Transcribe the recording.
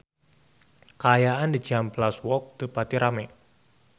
Kaayaan di Cihampelas Walk teu pati rame